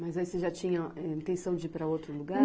Mas aí você já tinha, eh, intenção de ir para outro lugar?